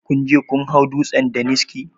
Kunje kun hau dutsen daniski?